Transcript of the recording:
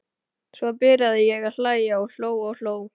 Svo byrjaði ég að hlæja og hló og hló.